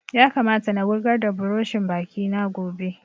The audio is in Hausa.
Ya kamata na wurgar da buroshin baki na gobe